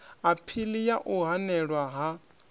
aphili ya u hanelwa ha